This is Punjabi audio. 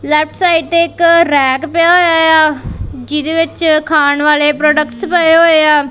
ਲੈਫਟ ਸਾਈਡ ਤੇ ਇਕ ਰੈਕ ਪਿਆ ਹੋਇਆ ਆ ਜਿਹਦੇ ਵਿੱਚ ਖਾਣ ਵਾਲੇ ਪ੍ਰੋਡਕਟਸ ਪਏ ਹੋਏ ਆ।